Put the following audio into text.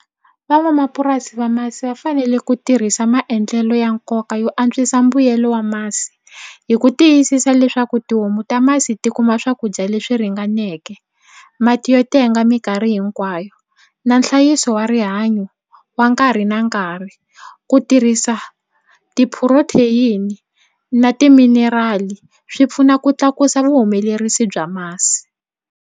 Van'wamapurasi va masi va fanele ku tirhisa maendlelo ya nkoka yo antswisa mbuyelo wa masi hi ku tiyisisa leswaku tihomu ta masi ti kuma swakudya leswi ringaneke mati yo tenga mikarhi hinkwayo na nhlayiso wa rihanyo wa nkarhi na nkarhi ku tirhisa ti-protein na ti-mineral swi pfuna ku tlakusa vuhumelerisi bya masi.